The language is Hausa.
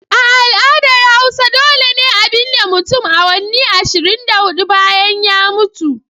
A al'adar hausa dole ne a binne mutum awanni ashirin da hudu bayan ya mutu.